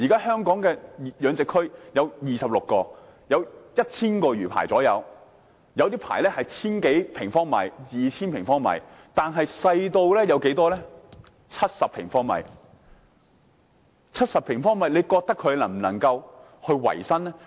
香港現時有26個養殖區，約有 1,000 個魚排，有些魚排的面積達千多二千平方米，亦有些細小至只有70平方米，大家認為70平方米的魚排能否維生？